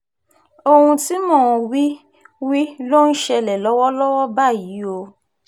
ohun tí mò ń wí wí ló ń ṣẹlẹ̀ lọ́wọ́lọ́wọ́ báyìí o